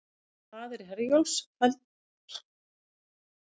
Ferðir Herjólfs felldar niður